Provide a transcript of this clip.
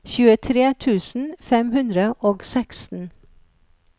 tjuetre tusen fem hundre og seksten